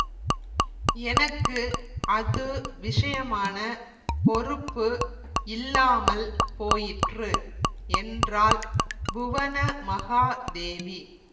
எனக்கு அது விஷயமான பொறுப்பு இல்லாமல் போயிற்று என்றாள் புவனமகாதேவி